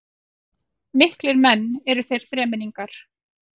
Miklir menn eru þeir þremenningar